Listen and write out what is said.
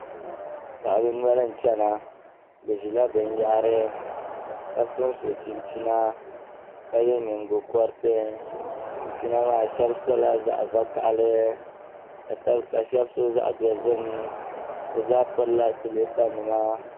Paɣaba noli n chɛna bi ʒila binyahari ka sonso chinchina ka yɛ nyingokoriti chinchina maa shab sola zaɣ vakaɣali ka shab so zaɣ dozim bi zaa pirila siliipa nima